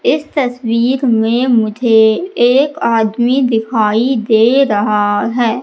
इस तस्वीर में मुझे एक आदमी दिखाई दे रहा है।